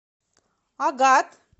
агат